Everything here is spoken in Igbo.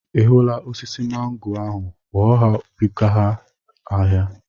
Ị hụla osisi mangoo ahụ? Ghọọ ya buga ya ahịa!